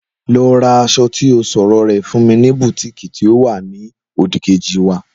Lọ ra aṣọ ti ọ sọ̀rọ rè fún mi ní bùtíìkì tí ó wa ni òdì-kejì wa